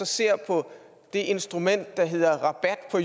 ser på det instrument der hedder rabat på